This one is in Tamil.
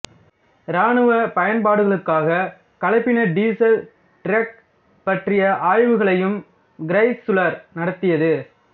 இராணுவ பயன்பாடுகளுக்காக கலப்பின டீசல் டிரக் பற்றிய ஆய்வுகளையும் கிரைசுலர் நடத்தியது